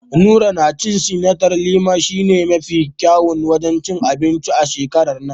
Nura ya ce Sentiral a Lima shi ne mafi kyawun wajen cin anbinci a shekarar nan.